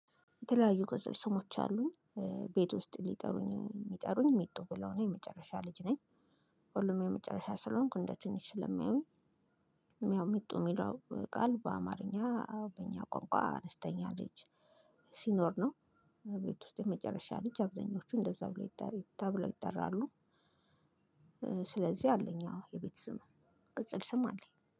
የተለያዩ ቅጽል ስሞች አሉኝ ቤት ውስጥ ሊጠሩኝ የሚጠሩኝ ሜጡ ብለው ነው የመጨረሻ ልጅ ነኝ ሁሉም የመጨረሻ ስለሆንኩ እንደ ትንሽ ስለሚያዩኝ ያው ሚጡ የሚለው ቃል በአማርኛ በእኛ ቋንቋ አነስተኛ ልጅ ሲኖር ነው ቤት ውስጥ የመጨረሻ ልጅ አብዛኞቹ እንደዛ ብሎ ተብለው ይጠራሉ። ስለዚህ አለኝ የቤት ስም ቅጽል ስም አለኝ።